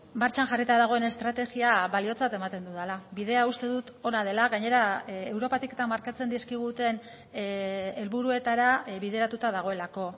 martxan jarrita dagoen estrategia baliotzat ematen dudala bidea uste dut ona dela gainera europatik eta markatzen dizkiguten helburuetara bideratuta dagoelako